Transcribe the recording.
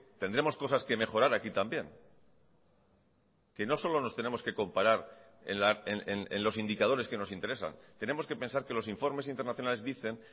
tendremos cosas que mejorar aquí también que no solo nos tenemos que comparar en los indicadores que nos interesan tenemos que pensar que los informes internacionales dicen